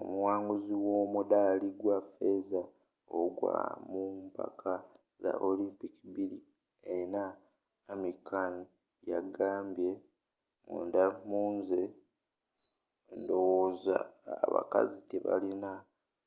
omuwanguzi w’omudaali gwa feeza ogwa mumpaka za olympic 2004 amir khan yagambye munda munze ndowooza abakazi tebalina